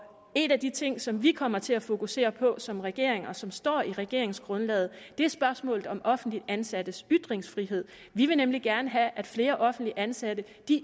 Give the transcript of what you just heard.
en af de ting som vi kommer til at fokusere på som regering og som står i regeringsgrundlaget er spørgsmålet om offentligt ansattes ytringsfrihed vi vil nemlig gerne have at flere offentligt ansatte